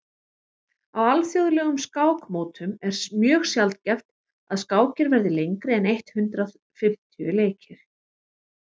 á alþjóðlegum skákmótum er mjög sjaldgæft að skákir verði lengri en eitt hundruð fimmtíu leikir